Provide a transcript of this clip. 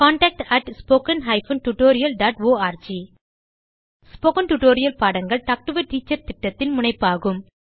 contact at spoken hyphen tutorial dot org spoken tutorial பாடங்கள் talk to a teacher திட்டத்தின் முனைப்பாகும்